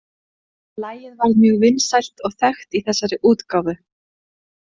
Lagið varð mjög vinsælt og þekkt í þessari útgáfu.